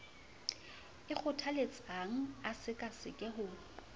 e kgothaletsang a sekaseke ho